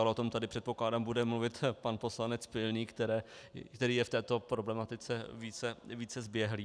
Ale o tom tady, předpokládám, bude mluvit pan poslanec Pilný, který je v této problematice více zběhlý.